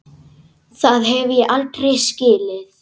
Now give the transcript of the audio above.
Það hef ég aldrei skilið.